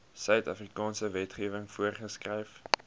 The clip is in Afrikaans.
suidafrikaanse wetgewing voorgeskryf